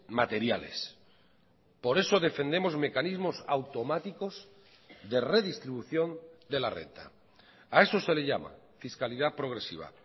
materiales por eso defendemos mecanismos automáticos de redistribución de la renta a eso se le llama fiscalidad progresiva